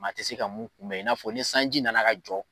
Maa tɛ se ka mun kunbɛ n'a fɔ ni sanji nana ka jɔ.